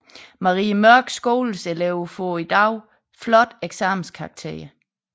Marie Mørks Skoles elever får i dag flotte eksamenskarakterer